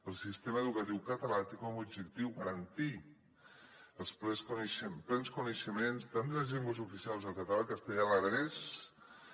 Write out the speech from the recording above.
el sistema educatiu català té com a objectiu garantir els plens coneixements tant de les llengües oficials el català el castellà l’aranès